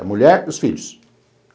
A mulher e os filhos.